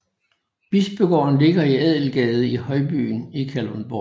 Bispegården ligger i Adelgade i Højbyen i Kalundborg